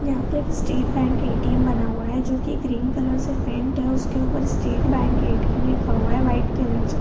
यहाँ पे एक स्टेट बैंक ए.टी.एम. बना हुआ है जो कि ग्रीन कलर से पेंट है उसके ऊपर स्टेट बैंक ए.टी.एम. लिखा हुआ है व्हाइट कलर से।